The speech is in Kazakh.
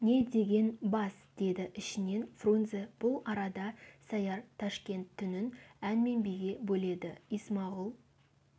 не деген бас деді ішінен фрунзе бұл арада сәяр ташкент түнін ән мен биге бөледі исмағұл